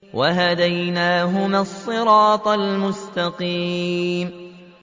وَهَدَيْنَاهُمَا الصِّرَاطَ الْمُسْتَقِيمَ